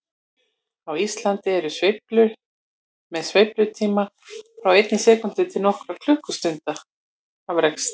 Á Íslandi eru sveiflur með sveiflutíma frá einni sekúndu til nokkurra klukkutíma sterkastar.